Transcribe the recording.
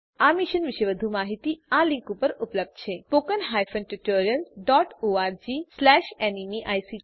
આ મિશન પર વધુ માહીતી આ લીંક પર ઉપલબ્ધ છે spoken hyphen tutorial dot org slash NMEICT hyphen intro